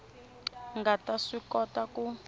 nga ta swi kota ku